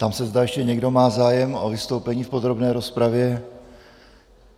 Ptám se, zda ještě někdo má zájem o vystoupení v podrobné rozpravě.